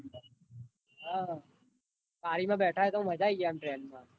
હ બારમાં બેઠા હોય તો આમ train માં